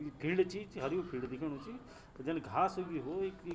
यु field चि च हर्यु फिल्ड दिखयोणु च तो जन घास उगी हो इख क्वि।